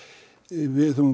við